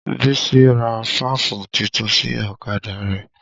Bísí ra fáàfù titun sí ọ̀kadà rẹ̀